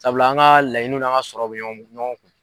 Sabula an ka laɲiniw n'an ka sɔrɔw bɛ ɲɔn ɲɔgɔn kun.